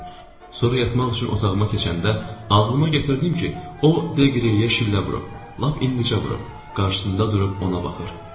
Sonra yatmaq üçün otağıma keçəndə ağlıma gətirdim ki, o Deqriyeyi şillələyib, lap indicə vurub, qarşısında durub ona baxır.